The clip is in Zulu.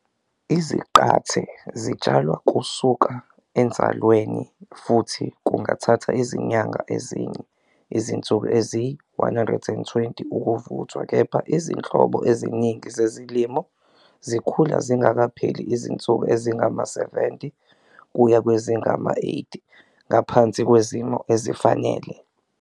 Izaqathe zitshalwa kusuka enzalweni futhi kungathatha izinyanga ezine, izinsuku eziyi-120, ukuvuthwa, kepha izinhlobo eziningi zezilimo zikhula zingakapheli izinsuku ezingama-70 kuya kwezingama-80 ngaphansi kwezimo ezifanele.